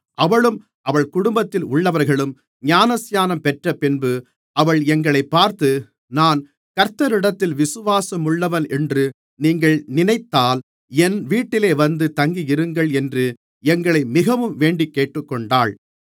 அவளும் அவள் குடும்பத்தில் உள்ளவர்களும் ஞானஸ்நானம் பெற்றப்பின்பு அவள் எங்களைப் பார்த்து நான் கர்த்தரிடத்தில் விசுவாசமுள்ளவளென்று நீங்கள் நினைத்தால் என் வீட்டிலே வந்து தங்கியிருங்கள் என்று எங்களை மிகவும் வேண்டிக் கேட்டுக்கொண்டாள்